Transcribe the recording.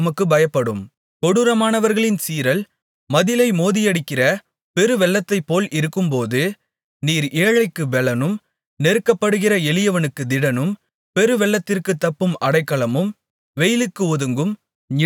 கொடூரமானவர்களின் சீறல் மதிலை மோதியடிக்கிற பெருவெள்ளத்தைப்போல் இருக்கும்போது நீர் ஏழைக்குப் பெலனும் நெருக்கப்படுகிற எளியவனுக்குத் திடனும் பெருவெள்ளத்திற்குத் தப்பும் அடைக்கலமும் வெயிலுக்கு ஒதுங்கும் நிழலுமானீர்